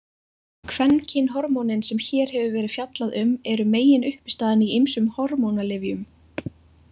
Kvenkynhormónin sem hér hefur verið fjallað um eru meginuppistaðan í ýmsum hormónalyfjum.